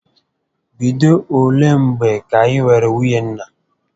Bido olé mgbè kà I nwèrè nwunye nna?